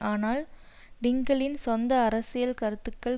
ஆனால் டிங்கலின் சொந்த அரசியல் கருத்துக்கள்